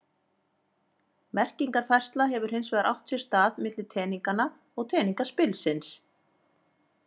Merkingarfærsla hefur hins vegar átt sér stað milli teninganna og teningaspilsins.